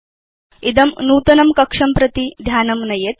इदं नूतनं कक्षं प्रति ध्यानं नयेत्